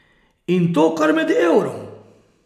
In to kar med Eurom.